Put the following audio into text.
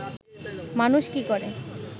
মানুষ কি করে